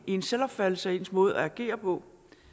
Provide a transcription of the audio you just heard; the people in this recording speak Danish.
i ens selvopfattelse og i ens måde at agere på og